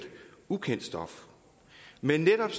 ukendt stof men netop